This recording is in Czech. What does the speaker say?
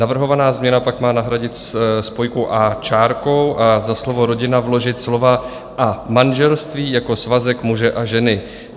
Navrhovaná změna pak má nahradit spojku "a" čárkou a za slovo "rodina" vložit slova "a manželství jako svazek muže a ženy".